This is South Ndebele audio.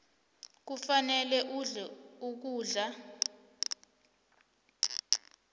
kufanele udle ukudla